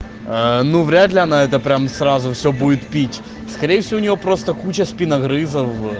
ээ ну вряд ли она это прямо сразу всё будет пить скорее всего у неё просто куча спиногрызов